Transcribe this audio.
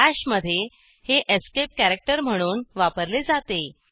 BASH मधे हे escape character म्हणून वापरले जाते